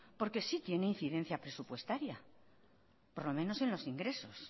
porque sí tiene incidencia presupuestaria por lo menos en los ingresos